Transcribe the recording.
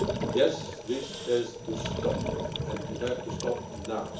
Yes, this has to stop and has to stop now.